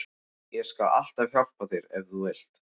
Ég skal alltaf hjálpa þér ef þú vilt.